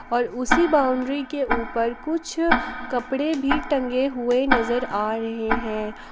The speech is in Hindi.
और उसी बाउंड्री के ऊपर कुछ कपड़े भी टंगे हुए नजर आ रहे हैं।